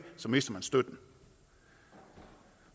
mister man støtten